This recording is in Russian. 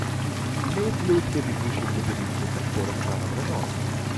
имеется ли у тебя бегущий в лабиринте с актером жаном рено